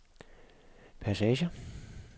passager